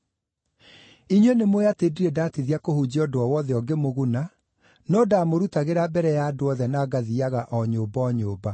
Inyuĩ nĩmũũĩ atĩ ndirĩ ndatithia kũhunjia ũndũ o wothe ũngĩmũguna no ndĩmũrutagĩra mbere ya andũ othe na ngathiiaga o nyũmba o nyũmba.